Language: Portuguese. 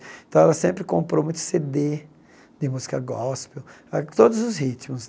Então, ela sempre comprou muito Cê Dê de música gospel, ah todos os ritmos.